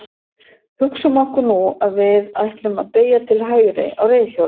hugsum okkur nú að við ætlum að beygja til hægri á reiðhjóli